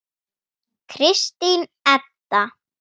Kristín Edda.